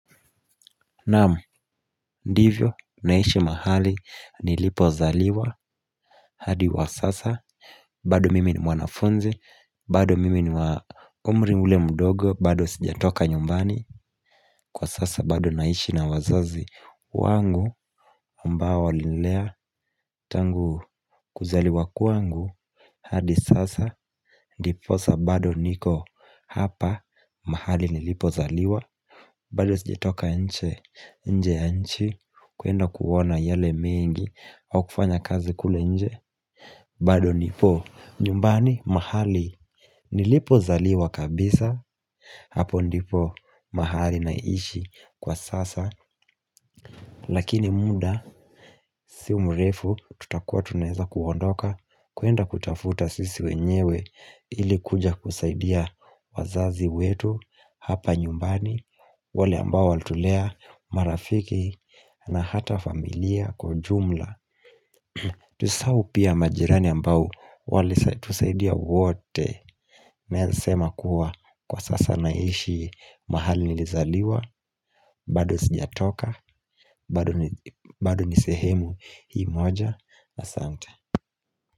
Naam, ndivyo, naishi mahali, nilipo zaliwa, hadi wa sasa, bado mimi ni mwanafunzi, bado mimi ni umri ule mdogo, bado sijatoka nyumbani, kwa sasa bado naishi na wazazi, wangu ambao walinilea tangu kuzaliwa kwangu, hadi sasa, ndiposa bado niko hapa, mahali nilipo zaliwa, bado sijatoka nhe, nje ya nchi, kuenda kuona yale mengi au kufanya kazi kule nje bado nipo nyumbani mahali Nilipo zaliwa kabisa Hapo ndipo mahali naishi Kwa sasa Lakini muda Si mrefu Tutakua tunaeza kuondoka kuenda kutafuta sisi wenyewe ili kuja kusaidia wazazi wetu Hapa nyumbani wale ambao walitulea marafiki na hata familia kwa ujumla Tusisahau pia majirani ambao Walitusaidia wote Naeza sema kuwa kwa sasa naishi mahali nilizaliwa bado sijatoka bado ni sehemu hii moja na sante.